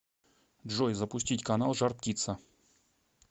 джой запустить канал жар птица